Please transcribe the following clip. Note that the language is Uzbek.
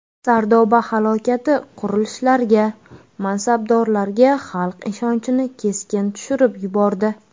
Sardoba halokati qurilishlarga, mansabdorlarga xalq ishonchini keskin tushirib yubordi.